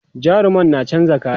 jarumar na chanza kaya